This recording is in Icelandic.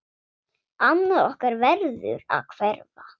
Annað okkar verður að hverfa.